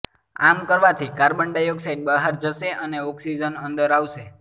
આમ કરવાથી carbon dioxide બહાર જશે અને ઓક્સિજન અંદર આવશે